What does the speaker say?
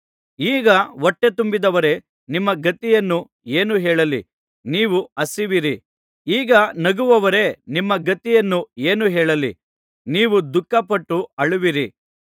ಈಗ ಹೊಟ್ಟೆತುಂಬಿದವರೇ ನಿಮ್ಮ ಗತಿಯನ್ನು ಏನು ಹೇಳಲಿ ನೀವು ಹಸಿಯುವಿರಿ ಈಗ ನಗುವವರೇ ನಿಮ್ಮ ಗತಿಯನ್ನು ಏನು ಹೇಳಲಿ ನೀವು ದುಃಖಪಟ್ಟು ಅಳುವಿರಿ